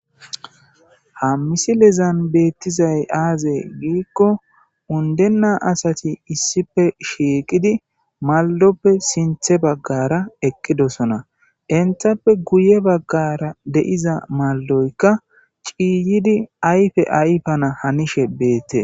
Hammisi lezan beettizay aaze giikko undenna asati issife shieqidi malloppe sinthe baggara eqqidosona intappe guye baggara deiza malloyka ciiyidi ayfe aypana hanishe beette.